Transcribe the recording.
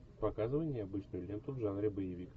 показывай необычную ленту в жанре боевик